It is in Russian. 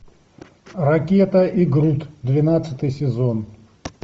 ракета и грут двенадцатый сезон